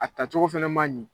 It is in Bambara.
A tacogo fana ma ɲi.